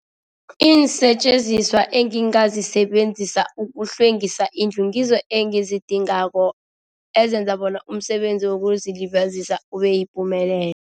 Iinsetjenziswa engingazisebenzisa ukuhlwengisa indlu ngizo engizidingako ezenza bona umsebenzi wokuzilibazisa ubeyipumelelo.